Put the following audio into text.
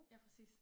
Ja præcis